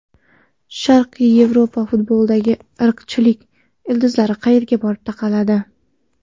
Sharqiy Yevropa futbolidagi irqchilik ildizlari qayerga borib taqaladi?